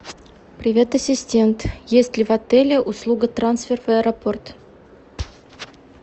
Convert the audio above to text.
привет ассистент есть ли в отеле услуга трансфер в аэропорт